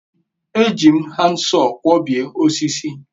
eji m handsaw kwobie osisi